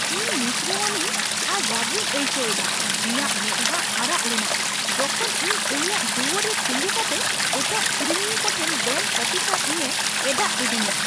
ᱤᱧ ᱱᱤᱥᱲᱟᱹᱣᱤᱱᱟᱹᱧ ᱟᱨ ᱨᱟᱹᱜᱤᱧ ᱟᱹᱭᱠᱟᱹᱣ ᱠᱮᱫᱟ, ᱤᱧᱟᱹᱜ ᱢᱮᱫᱦᱟ ᱟᱨᱟᱜ ᱞᱮᱱᱟ ᱡᱚᱠᱷᱮᱡ ᱤᱧ ᱩᱱᱤᱭᱟᱜ ᱫᱩᱣᱟᱹᱨ ᱨᱮ ᱛᱤᱸᱜᱩ ᱠᱟᱛᱮ ᱮᱴᱟᱜ ᱠᱤᱨᱤᱧᱤᱭᱟᱹ ᱠᱚᱴᱷᱮᱱ ᱵᱮᱝᱠ ᱚᱯᱷᱤᱥᱟᱨ ᱤᱧᱮ ᱮᱸᱰᱟᱜ ᱞᱤᱫᱤᱧᱟ ᱾